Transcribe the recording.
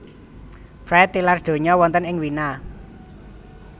Fried tilar donya wonten ing Wina